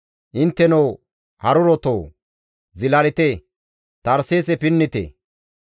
Intteno harurotoo! Zilalite; Tarseese pinnite.